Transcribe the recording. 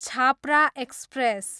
Chhapra express